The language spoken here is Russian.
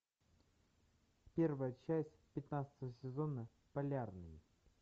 первая часть пятнадцатого сезона полярный